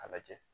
A lajɛ